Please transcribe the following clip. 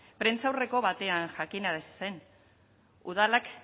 prentsaurreko batean jakinarazi zen udalak